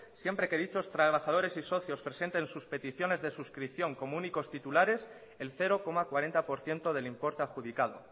siempre que dichos trabajadores y socios presenten sus peticiones de suscripción como únicos titulares el cero coma cuarenta por ciento del importe adjudicado